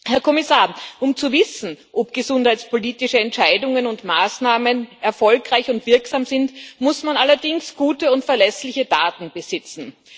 Herr Kommissar, um zu wissen, ob gesundheitspolitische Entscheidungen und Maßnahmen erfolgreich und wirksam sind, muss man allerdings gute und verlässliche Daten besitzen.